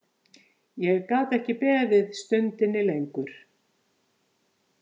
Ég gat ekki beðið stundinni lengur.